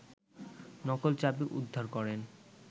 নকল চাবি উদ্ধার করেন